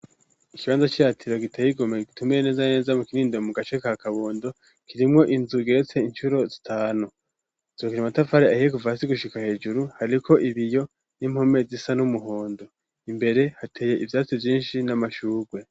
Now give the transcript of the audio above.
Ikibanza ciratiro giteye igomwe gitumbereye neza na neza mu kinindo mu gace ka kabondo kirimwo inzu igeretse incuro zitanu zubakishijwe amatafari ahiye kuva hasi gushika hejuru hariko ibiyo n'impome zisa n'umuhondo imbere hateye ivyatsi vyinshi n'amashugwe.